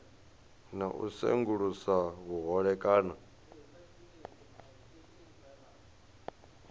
na u sengulusa vhuhole kana